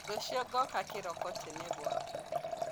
Rũciũ ngooka kĩroko tene gwaku.